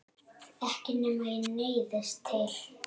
Ekki nema ég neyðist til.